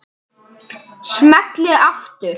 Smelli aftur.